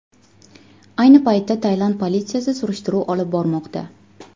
Ayni paytda Tailand politsiyasi surishtiruv olib bormoqda.